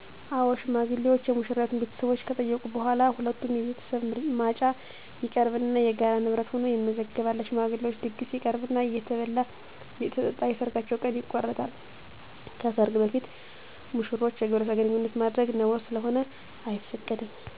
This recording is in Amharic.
አዎ ሽማግሌዎች የሙሽራይቱን ቤተሰቦች ከጠየቁ በኋላ በሁለቱም ቤተሰብ ማጫ ይቀርብና የጋራ ንብረት ሁኖ ይመዘገባል። ለሽማግሌዎች ድግስ ይቀርብና እየተበላ አየተጠጣ የሰርጋቸው ቀን ይቆረጣል። ከሰርግ በፊት ሙሽሮች የግብረ ስጋ ግንኙነት ማድረግ ነውር ስለሆነ አይፈቀድም።